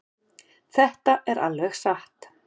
Þetta er alveg satt.